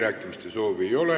Kõnesoove ei ole.